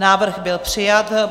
Návrh byl přijat.